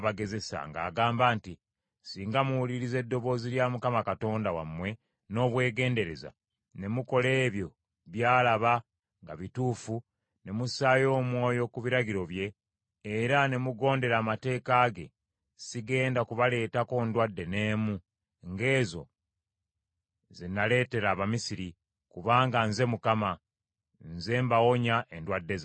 ng’agamba nti, “Singa muwuliriza eddoboozi lya Mukama Katonda wammwe n’obwegendereza, ne mukola ebyo by’alaba nga bituufu, ne mussaayo omwoyo ku biragiro bye, era ne mugondera amateeka ge, sigenda kubaleetako ndwadde n’emu, ng’ezo ze naleetera Abamisiri, kubanga nze Mukama , nze mbawonya endwadde zammwe.”